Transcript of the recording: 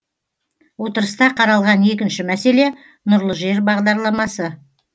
отырыста қаралған екінші мәселе нұрлы жер бағдарламасы